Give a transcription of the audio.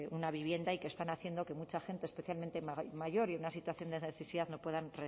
una vivienda y que están haciendo que mucha gente especialmente mayor y en una situación de necesidad no puedan